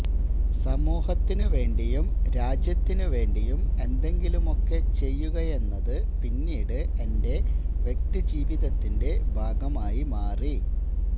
സമൂഹത്തിനുവേണ്ടിയും രാജ്യത്തിനുവേണ്ടിയും എന്തെങ്കിലുമൊക്കെ ചെയ്യുകയെന്നത് പിന്നീട് എന്റെ വ്യക്തിജീവിതത്തിന്റെ ഭാഗമായി മാറി